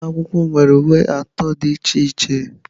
Ụlọ akwụkwọ m nwere uwe atọ dị iche iche.